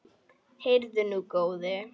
Heyrðu nú, góði!